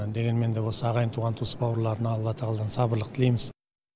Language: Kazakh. дегенмен де осы ағайын туған туыс бауырларына алла тағаладан сабырлық тілейміз